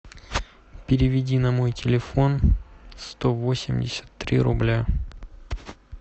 переведи на мой телефон сто восемьдесят три рубля